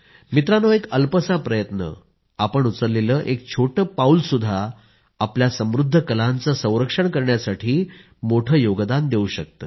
मित्रांनो एक अल्पसा प्रयत्न आपण उचललेलं एक छोटं पाऊलसुद्धा आपल्या समृद्ध कलांचं संरक्षण करण्यासाठी मोठं योगदान देवू शकतं